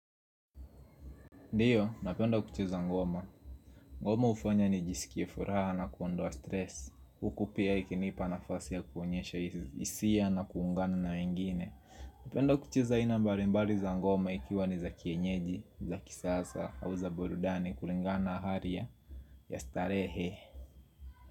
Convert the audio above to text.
Ndiyo, napenda kucheza ngoma. Ngoma ufanya nijisikie furaha na kuondoa stress. Huku pia ikinipa nafasi ya kuonyesha hisia na kuungana na ingine. Napenda kucheza aina mbali mbali za ngoma ikiwa ni za kienyeji, za kisasa, au za burudani, kulingana aharia. Yastarehe.